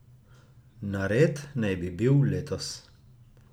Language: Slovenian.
Nared naj bi bil letos.